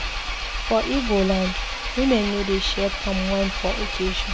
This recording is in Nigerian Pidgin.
For Ibo land, women no dey share palm wine for occasion.